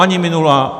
Ani minulá.